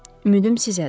ümidim sizdədir.